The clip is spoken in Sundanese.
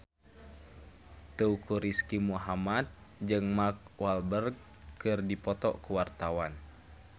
Teuku Rizky Muhammad jeung Mark Walberg keur dipoto ku wartawan